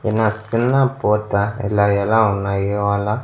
సిన్న పోతా ఇలా ఎలా ఉన్నాయి ఇవాళ.